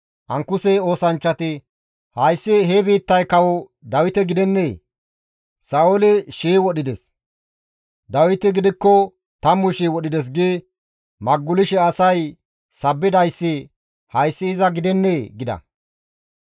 Ankuse oosanchchati, «Hayssi he biittay kawo Dawite gidennee? « ‹Sa7ooli shii wodhides; Dawiti gidikko tammu shii wodhides› gi maggulishe asay sabbidayssi hayssi iza gidennee?» gida.